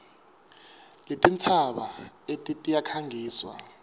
letintsaba eti tiyakhangiswa